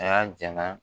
A y'a ja na